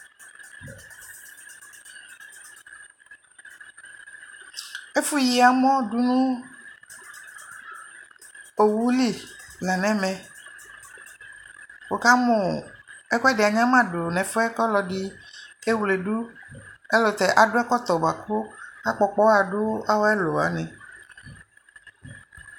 Ɛfʋyi amɔ du nʋ owu li la nɛmɛ Wʋkamʋ ɛkʋɛdi anyamadu nʋ ɛfuɛ kʋ ɔlɔdi kewledu ayɛlʋtɛ adu ɛkɔtɔ boa kʋ akpɔkpɔɣa du awu ɛlʋ wani